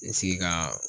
I sigi ka